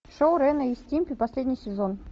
шоу рена и стимпи последний сезон